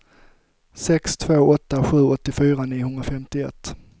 sex två åtta sju åttiofyra niohundrafemtioett